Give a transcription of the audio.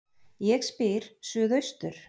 Ég spyr: Suðaustur